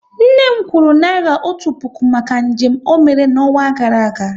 Nne m kwuru naira otu puku maka njem ọ mere n'ọnwa gara aga